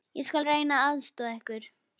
Ég skal reyna að aðstoða ykkur.